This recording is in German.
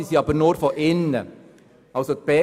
Dies ist aber nur von innen möglich.